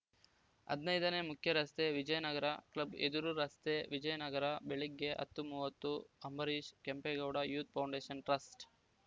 ಹದಿನೈದು ನೇ ಮುಖ್ಯರಸ್ತೆ ವಿಜಯನಗರ ಕ್ಲಬ್‌ ಎದುರು ರಸ್ತೆ ವಿಜಯನಗರ ಬೆಳಗ್ಗೆ ಹತ್ತು ಮೂವತ್ತು Ambareesh Kempegowda youth foundation trust